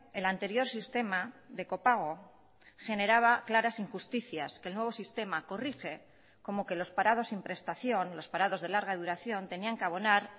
el anterior sistema de copago generaba claras injusticias que el nuevo sistema corrige como que los parados sin prestación los parados de larga duración tenían que abonar